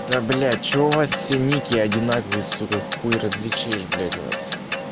да блять что у вас все ники одинаковые сука хуй различишь блять вас